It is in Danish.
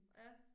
Ja